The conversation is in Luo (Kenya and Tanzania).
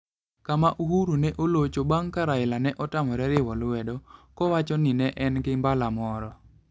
Kama Uhuru ne olocho bang ' ka Raila ne otamore riwo lwedo, kowacho ni ne en gi mbala moro.